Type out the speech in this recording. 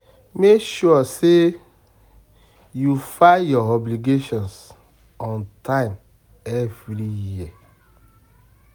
Mek sure say yu file yur obligations on time evri year